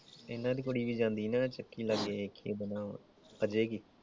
ਇਹਨਾਂ ਦੀ ਕੁੜੀ ਵੀ ਜਾਂਦੀ ਹਣਾ ਚੱਕੀ ਲਾਗੇ ਕਿ ਉਹਦਾ ਨਾਮ ਆ ਅਜੇ ਕਿ ।